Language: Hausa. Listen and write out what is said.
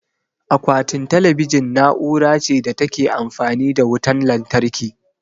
Akwatin talabijin na'ura ce da ta Ke amfani da wutan lantarki